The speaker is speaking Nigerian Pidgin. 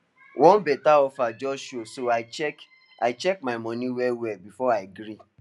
one better offer just show so i check i check my money well well before i gree